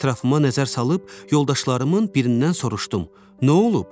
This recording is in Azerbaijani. Ətrafıma nəzər salıb yoldaşlarımın birindən soruşdum: Nə olub?